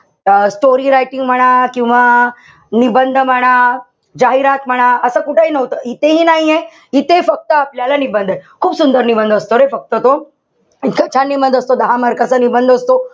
अं story writing म्हणा किंवा निबंध म्हणा. जाहिरात म्हणा. असं कुठंही नव्हतं. इथेही नाहीये. इथे फक्त आपल्याला निबंध ए. खूप सुदंर निबंध असतो रे फक्त तो. इतका छान निबंध असतो. दहा mark चा निबंध असतो.